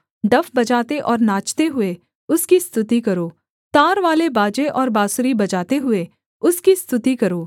डफ बजाते और नाचते हुए उसकी स्तुति करो तारवाले बाजे और बाँसुरी बजाते हुए उसकी स्तुति करो